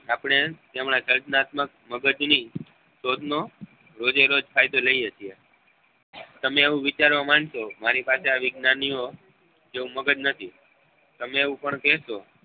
આપને તેમના કલ્પનાત્મક મગજ ની શોધ નો રોજે રોજ ફાયદો લઈએ છીએ તમે એવું વિચારવા માંડ્સો મારી પાસે આં વિજ્ઞાનીઓ જેવું મગજ નથી તમે એવું પણ કહેશો